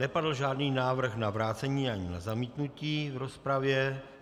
Nepadl žádný návrh na vrácení ani na zamítnutí v rozpravě.